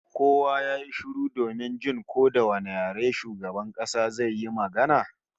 Kowa ya yi shiru domin jin ko da wane yare shugaban kasa zai yi magana